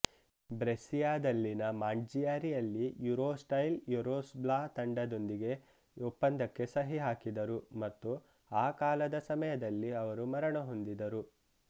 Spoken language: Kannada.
ಬ್ರೆಸ್ಸಿಯಾದಲ್ಲಿನ ಮಾಂಟ್ಚಿಯಾರಿಯಲ್ಲಿ ಯೂರೋಸ್ಟೈಲ್ ಯುರೋಸ್ಲ್ಬಾ ತಂಡದೊಂದಿಗೆ ಒಪ್ಪಂದಕ್ಕೆ ಸಹಿ ಹಾಕಿದರು ಮತ್ತು ಆ ಕಾಲದ ಸಮಯದಲ್ಲಿ ಅವರು ಮರಣ ಹೊಂದಿದರು